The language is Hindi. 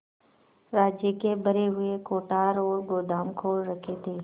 राज्य के भरे हुए कोठार और गोदाम खोल रखे थे